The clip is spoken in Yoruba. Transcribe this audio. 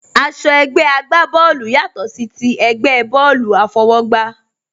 Aṣọ ẹgbẹ́ àgbá bọ́ọ̀lù yàtò sí ti ẹgbẹ́ bọ́ọ̀lù àfọwọ́gbá